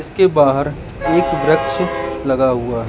इसके बाहर एक वृक्ष लगा हुआ--